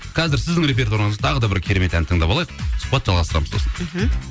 қазір сіздің репертуарыңызда тағы да бір керемет ән тыңдап алайық сұхбатты жалғастырамыз сосын мхм